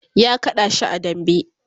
ya kada shi a dambe